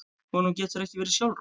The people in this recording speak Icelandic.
Honum getur ekki verið sjálfrátt.